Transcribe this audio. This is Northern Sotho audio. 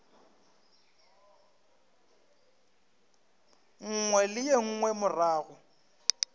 nngwe le ye nngwe morago